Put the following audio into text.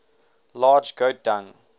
large goat dung